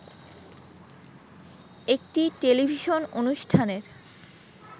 একটি টেলিভিশন অনুষ্ঠানের